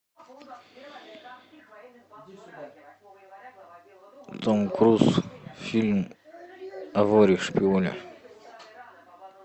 том круз фильм о воре шпионе